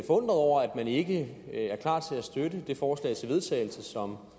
over at man ikke er klar til at støtte det forslag til vedtagelse som